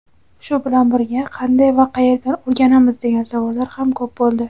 Shu bilan birga "qanday va qayerdan o‘rganamiz" degan savollar ham ko‘p bo‘ldi.